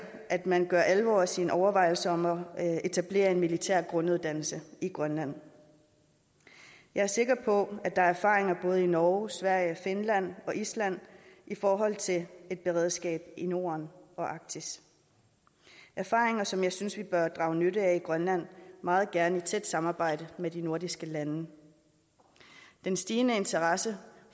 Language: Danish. at man gør alvor af sine overvejelser om at etablere en militær grunduddannelse i grønland jeg er sikker på at der er erfaringer både i norge sverige finland og island i forhold til et beredskab i norden og arktis erfaringer som jeg synes vi bør drage nytte af i grønland meget gerne i tæt samarbejde med de andre nordiske lande den stigende interesse